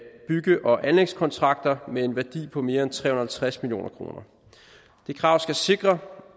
og anlægskontrakter med en værdi på mere end tre hundrede og halvtreds million kroner det krav skal sikre